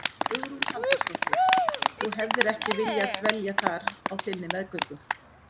Hugrún Halldórsdóttir: Þú hefðir ekki viljað dvelja þar á þinni meðgöngu?